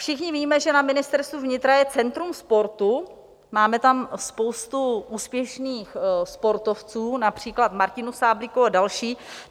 Všichni víme, že na Ministerstvu vnitra je centrum sportu, máme tam spoustu úspěšných sportovců, například Martinu Sáblíkovou a další.